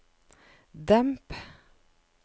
demp